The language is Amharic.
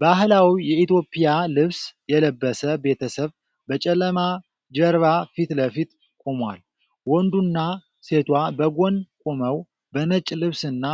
ባህላዊ የኢትዮጵያ ልብስ የለበሰ ቤተሰብ በጨለማ ጀርባ ፊት ለፊት ቆሟል። ወንዱና ሴቷ በጎን ቆመው፤ በነጭ ልብስና